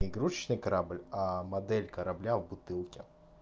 не игрушечный корабль модель корабля в бутылке